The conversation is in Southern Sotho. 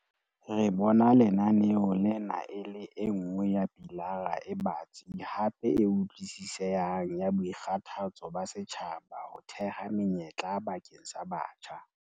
"Re bona lenaneo lena e le e nngwe ya pilara e batsi hape e utlwisisehang ya boikgathatso ba setjhaba ho theha menyetla bakeng sa batjha."